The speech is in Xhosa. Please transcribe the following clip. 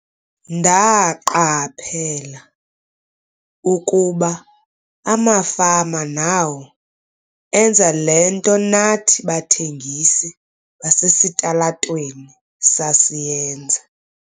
"Ndaqaphela ukuba amafama nawo enza le nto nathi bathengisi basesitalatweni sasiyenza."